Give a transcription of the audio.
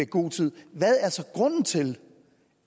god tid hvad er så grunden til